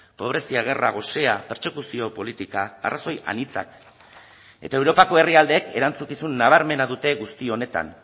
pobrezia gerra gosea pertsekuzio politika arrazoi anitzak eta europako herrialdeek erantzukizun nabarmena dute guzti honetan